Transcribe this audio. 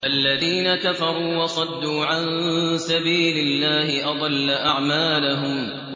الَّذِينَ كَفَرُوا وَصَدُّوا عَن سَبِيلِ اللَّهِ أَضَلَّ أَعْمَالَهُمْ